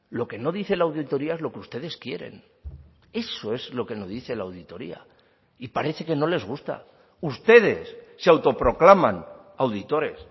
lo que no dice la auditoría es lo que ustedes quieren eso es lo que no dice la auditoría y parece que no les gusta ustedes se autoproclaman auditores